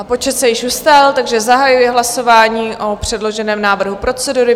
A počet se již ustálil, takže zahajuji hlasování o předloženém návrhu procedury.